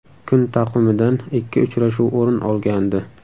Kun taqvimidan ikki uchrashuv o‘rin olgandi.